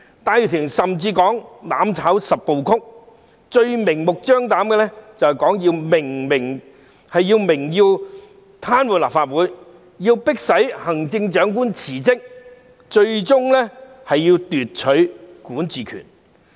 戴耀廷甚至提出"攬炒十部曲"，最明目張膽的就是明言要癱瘓立法會，迫行政長官辭職，最終要奪取管治權。